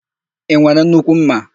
I nwere nnukwu ḿmà?